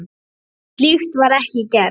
Slíkt var ekki gert.